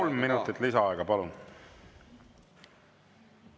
Kolm minutit lisaaega, palun!